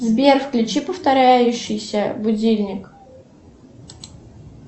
сбер включи повторяющийся будильник